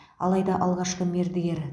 алайда алғашқы мердігер